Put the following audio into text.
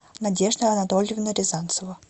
надежда анатольевна рязанцева